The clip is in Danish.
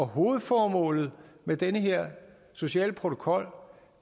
hovedformålet med den her sociale protokol